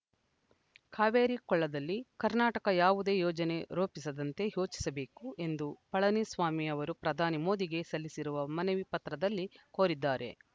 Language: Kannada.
ಕಾವೇರಿ ಕೊಳ್ಳದಲ್ಲಿ ಕರ್ನಾಟಕ ಯಾವುದೇ ಯೋಜನೆ ರೊಪಿಸದಂತೆ ಯೊಚಿಸಬೇಕು ಎಂದು ಪಳನಿ ಸ್ವಾಮಿ ಅವರು ಪ್ರಧಾನಿ ಮೋದಿಗೆ ಸಲ್ಲಿಸಿರುವ ಮನವಿ ಪತ್ರದಲ್ಲಿ ಕೋರಿದ್ದಾರೆ